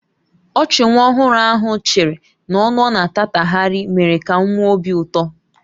Ọchị nwa ọhụrụ ahụ chịrị na ọnụ ọ na-atatagharị mere ka m nwee obi ụtọ